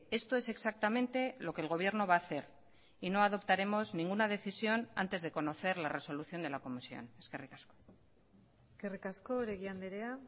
esto es exactamente lo que el gobierno va a hacer y no adoptaremos ninguna decisión antes de conocer la resolución de la comisión eskerrik asko eskerrik asko oregi andrea